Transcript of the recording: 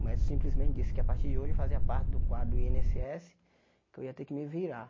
O médico simplesmente disse que a partir de hoje eu fazia parte do quadro i êne ésse ésse que eu ia ter que me virar.